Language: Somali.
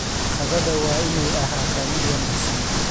Qadada waa inay ahaataa mid wanaagsan.